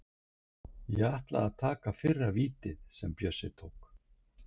Ég ætlaði að taka fyrra vítið sem Bjössi tók.